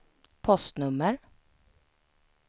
postnummer